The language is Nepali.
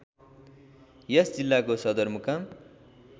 यस जिल्लाको सदरमुकाम